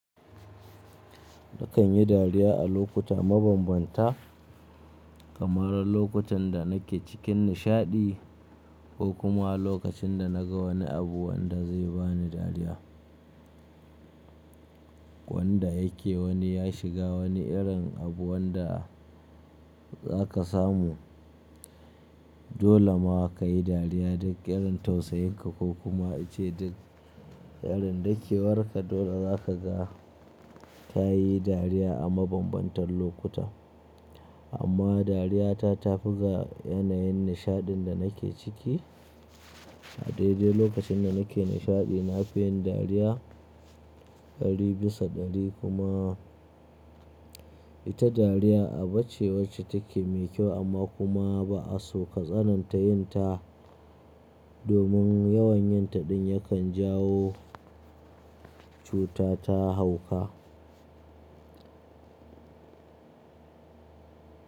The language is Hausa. Na kan yi dariya a lokuta mabambanta kamar lokutan da na ke cikin nishaɗi ko kuma lokacin da na ga wani abu wanda zai ba ni dariya. Wanda yake wani ya shiga wani irin abu wanda za ka samu dole ma ka yi dariya duk ƙarin tausayin ka ko kuma ince duk ƙarin dakewar ka dole za ka ga ka yi dariya a mabambantan lokuta. Amma dariyata ta fi ga yanayin nishaɗin da na ke ciki a daidai lokacin da na ke nishaɗi na fi yin dariya dari bisa dari kuma ita dariya a bace wacce take mai kyau amma kuma ba'a so ka tsananta yin ta domin yawan yin ta ɗin yakan jawo cuta ta hauka.